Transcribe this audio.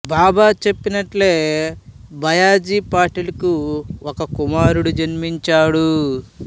బాబా చెప్పినట్లే బయ్యాజీ పాటిల్ కు ఒక కుమారుడు జన్మించాడు